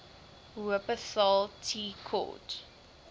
wupperthal tea court